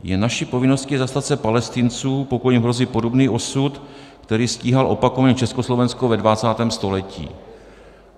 Je naší povinností zastat se Palestinců, pokud jim hrozí podobný osud, který stíhal opakovaně Československo ve 20. století.